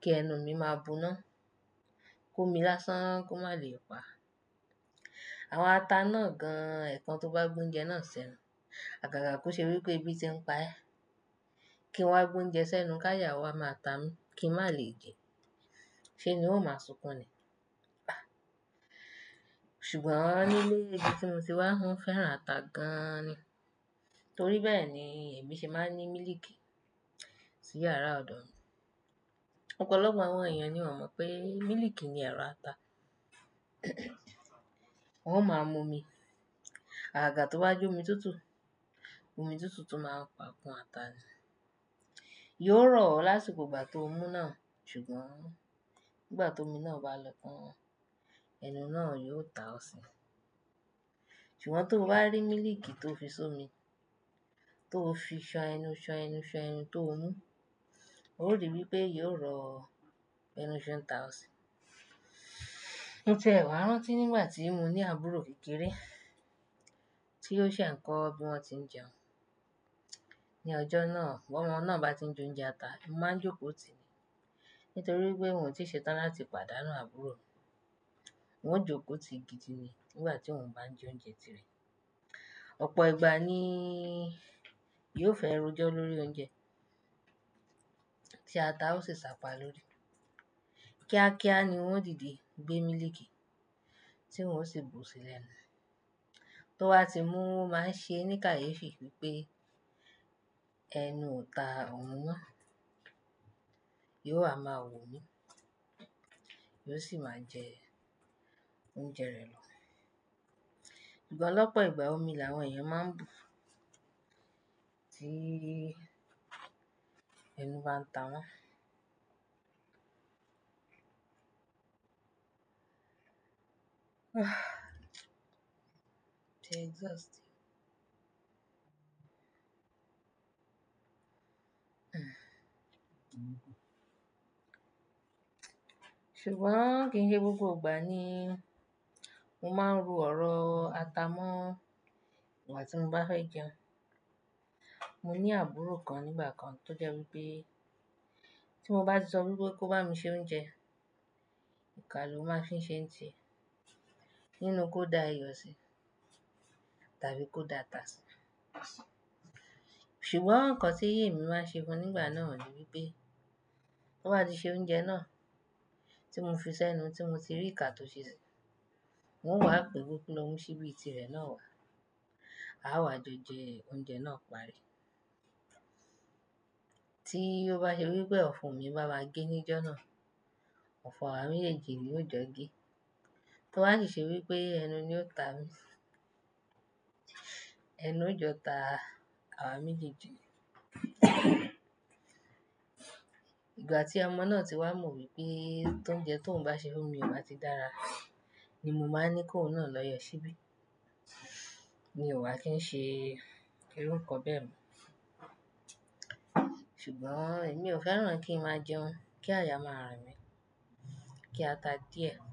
kí ẹnu mi máa buná, kó mi lásán kó má lè pa. Àwọn ata náà gan-an ẹ̀kan tó bá gbé oúnjẹ náà sẹ́nu. Àgàgà kò ṣe wípé ebí ti n pa ẹ́, kí n wá gbé oúnjẹ sẹ́nu káyà wa máa ta mi kí n má lè jẹ, ṣe n ni wọ́n ó máa sunkún ni. Ṣùgbọ́n nílé nibi tí mo ti wá, wọ́n fẹ́ràn ata gan-an ni. Torí bẹ́ẹ̀ ni èmi ṣe máa ń ní mílíkì sí yàrá ọ̀dọ̀ mi. Ọ̀pọ̀lọpọ̀ àwọn èèyàn ni wọ́n o mọ̀ pé mílíkì ni ẹ̀rọ ata. Wọ́n máa mú omi, àgàga tí ó bá jẹ́ omi tútù, omi tútù tún máa pa kún ata ni. Yóò rọ̀ ọ lásìkò ìgbà tó mú náà, ṣùgbọ́n ìgbà tó omi náà bá lọ tán ẹnu náà yóò ta ọ́ sí. Ṣùgbọ́n tó bá rí mílíkì tó fi so omi, tó fi ṣan ẹnu, ṣan ẹnu, ṣan ẹnu t'ómú, ó rí wípé yóò rọ̀ ọ ẹnu ṣe n ta ọ́ sí. Mo tiẹ̀ wàá rántí nígbà tí mo ní àbúrò kékeré tí ó ṣẹ̀ ń kọ́ bí wọ́n tí ń jẹun. Ni ọjọ́ náà, bí ọmọ náà bá ti ń jẹ oúnjẹ ata, mo máa ń jókòó tì í nítorí pé n o tí ṣe tán láti pàdánù àbúrò mi. N o jókòó tì í gidi ni nígbà tí òun bá ń jẹ oúnjẹ tìrẹ. Ọ̀pọ̀ ìgbà ni yóò fẹ́ ro jọ́ lórí oúnjẹ tí ata ó sì sapa lórí. Kíákíá ni n o dìde gbé mílíkì tí n o sì bù sí lẹ́nu. Tó bá ti mú o máa ń ṣe é ní káyéfì wípé ẹnu ò ta òhun mọ́, yóò wa máa wò mí, yóò sì máa jẹ oúnjẹ rẹ̀ lọ. Ṣùgbọ́n lọ́pọ̀ ìgbà omi làwọn èèyàn máa ń bù tí ẹnu bá ń ta wọ́n. T'e just. Ṣùgbọ́n kí n ṣe gbogbo ìgbà ni mo máa ń ro ọ̀rọ̀ ata mọ́ ìgbà tí mo bá fẹ́ jẹun. Mo ní àbúrò kan nígbà kan tó jẹ́ wípé tí mo bá ti sọ wípé kó bá mi ṣe oúnjẹ, ìka ló máa fi ń ṣe ń tie nínú kó dá iyọ̀ sí tàbí kó dá ata sí. Ṣùgbọ́n nǹkan tí èmi máa ṣe fún nígbà náà ni wípé tó bá ti ṣe oúnjẹ náà tí mo fi sẹ́nu tí mo ti rí ìka tó ṣe sì, n o wá pè pé kó lo mú síbi tí rẹ̀ náà wá. A wá jọ jẹ oúnjẹ náà parí. Tí ó bá ṣe wípé ọ̀fùn mi bá wá gé níjọ́ náà, ọ̀fun àwa méjèèjì ni ó jọ gé. Tó wá si ṣe wípé ẹnu ni ó ta mi. Ẹnu ò jọ ta àwa méjèèjì ni. Ìgbà tí ọmọ náà ti wá mọ̀ wípé tó ń jẹ tó ohun bá ṣe fún mi ó bá ti dára ni mo máa ń ní kó òhun náà lọ yọ síbí. Ni o wà kí ń ṣe irú nǹkan bẹ́ẹ̀ mọ̀. Ṣùgbọ́n èmi ò fẹ́ràn kí n má jẹun kí àyà máa rin mí, kí ata díẹ̀.